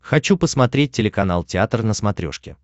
хочу посмотреть телеканал театр на смотрешке